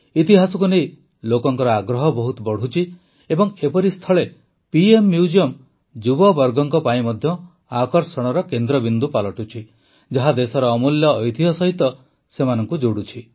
ଇତିହାସକୁ ନେଇ ଲୋକଙ୍କ ଆଗ୍ରହ ବହୁତ ବଢ଼ୁଛି ଏବଂ ଏପରିସ୍ଥଳେ ପିଏମ୍ ମ୍ୟୁଜିୟମ ଯୁବବର୍ଗଙ୍କ ପାଇଁ ମଧ୍ୟ ଆକର୍ଷଣର କେନ୍ଦ୍ରବିନ୍ଦୁ ପାଲଟୁଛି ଯାହା ଦେଶର ଅମୂଲ୍ୟ ଐତିହ୍ୟ ସହିତ ସେମାନଙ୍କୁ ଯୋଡ଼ୁଛି